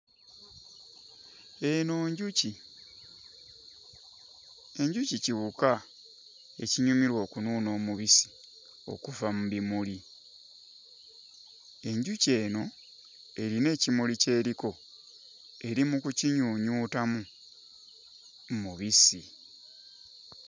Eno njuki. Enjuki kiwuka ekinyumirwa okunuuna omubisi okuva mu bimuli. Enjuki eno erina ekimuli ky'eriko eri mu kukinyuunyuutamu mubisi.